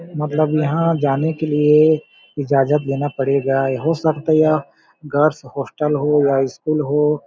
मतलब यहाँ जाने के लिए इजाजत लेना पड़ेगा या हो सकता यह गर्ल्स हॉस्टल हो या स्कूल हो।